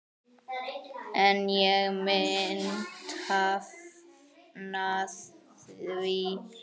En ég myndi hafna því.